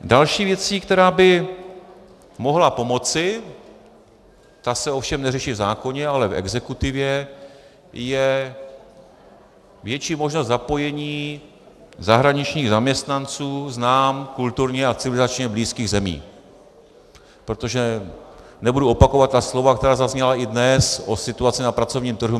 Další věcí, která by mohla pomoci, ta se ovšem neřeší v zákoně, ale v exekutivě, je větší možnost zapojení zahraničních zaměstnanců z nám kulturně a civilizačně blízkých zemí, protože nebudu opakovat ta slova, která zazněla i dnes o situaci na pracovním trhu.